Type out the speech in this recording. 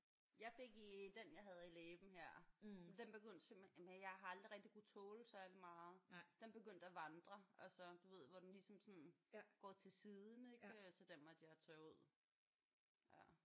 Jeg fik i den jeg havde i læben her. Den begyndte simpelthen jamen jeg har aldrig rigtig kunnet tåle særlig meget. Den begyndte at vandre altså du ved hvor den ligesom sådan simpelthen går til siden ik? Så den måtte jeg tage ud